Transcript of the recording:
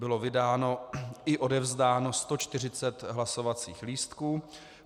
Bylo vydáno i odevzdáno 140 hlasovacích lístků.